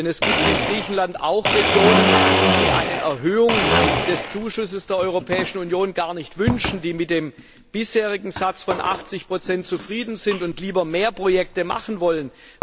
Denn es gibt in Griechenland auch Regionen, die eine Erhöhung des Zuschusses der Europäischen Union gar nicht wünschen, die mit dem bisherigen Satz von 80 zufrieden sind und lieber mehr Projekte machen wollen.